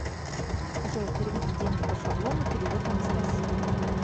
джой переведи деньги по шаблону перевод анастасии